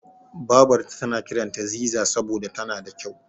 Babarta tana kiranta Ziza saboda tana da kyau.